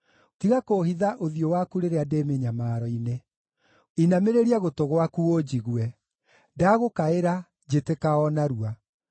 Tiga kũũhitha ũthiũ waku rĩrĩa ndĩ mĩnyamaro-inĩ. Inamĩrĩria gũtũ gwaku ũnjigue; ndagũkaĩra, njĩtĩka o narua.